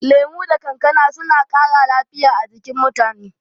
Lemu da kankana suna ƙara lafiya a jikin mutane.